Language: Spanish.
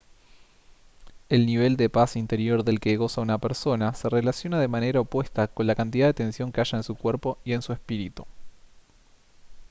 el nivel de paz interior del que goza una persona se relaciona de manera opuesta con la cantidad de tensión que haya en su cuerpo y en su espíritu